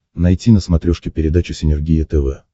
найти на смотрешке передачу синергия тв